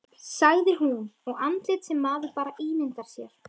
sagði hún, og andlit sem maður bara ímyndar sér